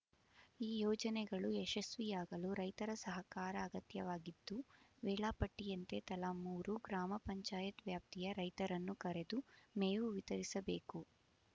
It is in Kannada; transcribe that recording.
ಈ ಯೋಜನೆಗಳು ಯಶಸ್ವಿಯಾಗಲು ರೈತರ ಸಹಕಾರ ಅಗತ್ಯವಾಗಿದ್ದು ವೇಳಾ ಪಟ್ಟಿಯಂತೆ ತಲಾ ಮೂರು ಗ್ರಾಮ ಪಂಚಾಯತ್ ವ್ಯಾಪ್ತಿಯ ರೈತರನ್ನು ಕರೆದು ಮೇವು ವಿತರಿಸಬೇಕು